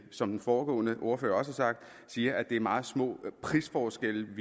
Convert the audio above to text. som den foregående ordfører også har sagt siger at det er meget små prisforskelle